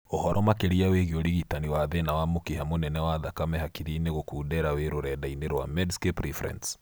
Uhoro makĩria wĩgiĩ ũrigitani wa thĩna wa mũkiha mũnene wa thakame hakiri-inĩ gũkundera wĩ rũrenda-inĩ rwa Medscape Reference